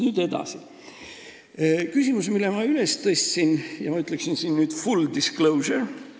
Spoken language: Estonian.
Nüüd edasi küsimusest, mille ma üles tõstan ja mille kohta ma ütleksin full disclosure.